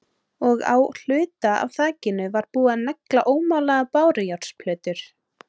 Og á hluta af þakinu var búið að negla ómálaðar bárujárnsplötur.